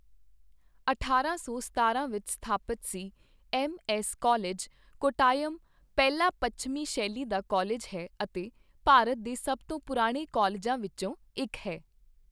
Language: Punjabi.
ਅਠਾਰਾਂ ਸੌ ਸਤਾਰਾਂ ਵਿੱਚ ਸਥਾਪਿਤ ਸੀ, ਐੱਮ ਐੱਸ ਕਾਲਜ, ਕੋਟਾਯਮ ਪਹਿਲਾ ਪੱਛਮੀ ਸ਼ੈਲੀ ਦਾ ਕਾਲਜ ਹੈ ਅਤੇ ਭਾਰਤ ਦੇ ਸਭ ਤੋਂ ਪੁਰਾਣੇ ਕਾਲਜਾਂ ਵਿੱਚੋਂ ਇੱਕ ਹੈ।